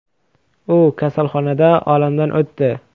U kasalxonada olamdan o‘tdi.